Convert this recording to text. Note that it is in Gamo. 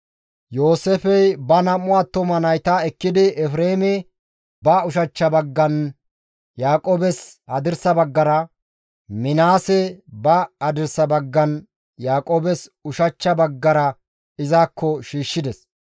Yooseefey ba nam7u attuma nayta ekkidi Efreeme ba ushachcha baggan Yaaqoobes hadirsa baggara, Minaase ba hadirsa baggan Yaaqoobes ushachcha baggara izakko shiishshides.